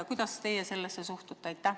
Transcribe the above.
Kuidas teie sellesse suhtute?